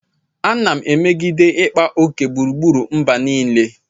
Ana m emegide ịkpa oke agbụrụ mgbe niile.